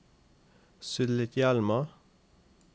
Sulitjelma